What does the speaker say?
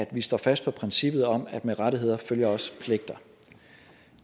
vi står fast på princippet om at med rettigheder følger også pligter